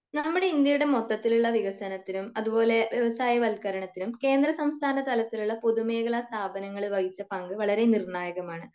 നമ്മുടെ ഇന്ത്യയുടെ മൊത്തത്തിൽ ഉള്ള വികസനത്തിനും അതുപോലെ വ്യവസായ വൽകരണത്തിനും കേന്ദ്ര സംസ്ഥാന തലത്തിലുള്ള പൊതുമേഖല സ്ഥാപനങ്ങള് വഹിച്ച പങ്ക് വളരേ നിർണായകമാണ്